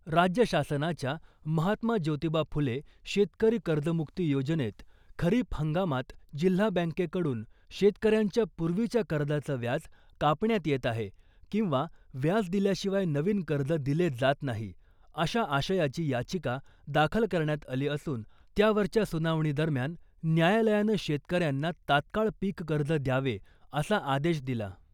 राज्य शासनाच्या महात्मा ज्योतिबा फुले शेतकरी कर्जमुक्ती योजनेत खरीप हंगामात जिल्हा बँकेकडून शेतकऱ्यांच्या पूर्वीच्या कर्जाचं व्याज कापण्यात येत आहे , किंवा व्याज दिल्याशिवाय नवीन कर्ज दिले जात नाही , अशा आशयाची याचिका दाखल करण्यात आली असून , त्यावरच्या सुनावणी दरम्यान न्यायालयानं शेतकऱ्यांना तात्काळ पीक कर्ज द्यावे , असा आदेश दिला .